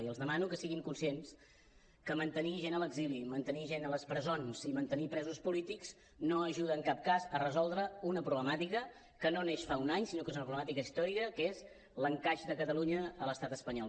i els demano que siguin conscients que mantenir gent a l’exili mantenir gent a les presons i mantenir presos polítics no ajuda en cap cas a resoldre una problemàtica que no neix fa un any sinó que és una problemàtica històrica que és l’encaix de catalunya a l’estat espanyol